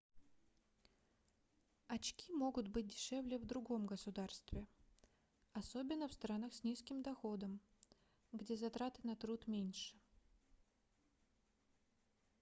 очки могут быть дешевле в другом государстве особенно в странах с низким доходом где затраты на труд меньше